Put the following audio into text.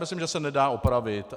Myslím, že se nedá opravit.